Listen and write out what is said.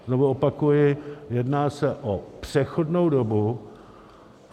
Znovu opakuji, jedná se o přechodnou dobu.